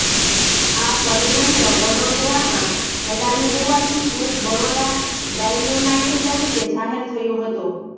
આ ષડયંત્ર વડોદરામાં ઘડાયું હોવાથી કેસ બરોડા ડાઇનેમાઈટ તરીકે જાહેર થયો હતો